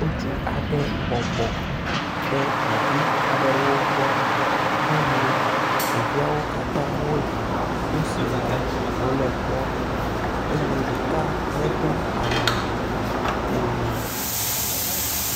Ŋutsu aɖe bɔbɔ ɖe ɖevi aɖewo gbɔ eye ɖeviawo katã wole nu si wɔm wòle kpɔm eye ɖeka medo awu o.